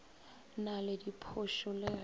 na le diphošo le ge